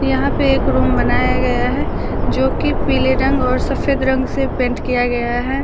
यहां पे एक रूम बनाया गया है जो कि पीले रंग और सफेद रंग से पेंट किया गया है।